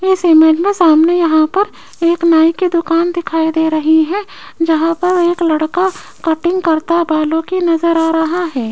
इस इमेज में सामने यहां पर एक नाई की दुकान दिखाई दे रही है जहां पर एक लड़का कटिंग करता बालों की नजर आ रहा है।